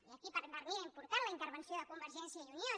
i aquí per a mi era important la intervenció de convergència i unió